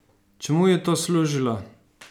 Čemu je to služilo?